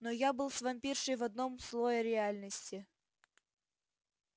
но я был с вампиршей в одном слое реальности